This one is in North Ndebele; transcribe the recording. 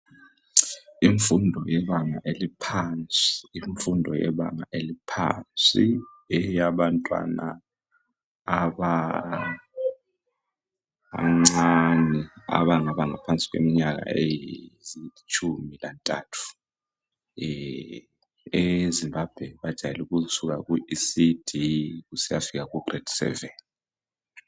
Imfundo yebanga eliphansi Imfundo yebanga eliphansi eyabantwana abancane abangaba ngaphansi kweminyaka elitshumi lantathu eZimbabwe bajayele ukusuka ku ecd kusiyafika ku grade seven.